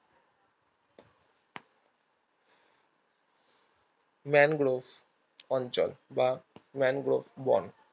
mangrove অঞ্চল বা mangrove বন